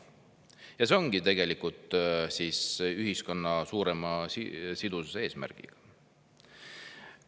Ja see ongi tegelikult ühiskonna suurema sidususe eesmärgiga.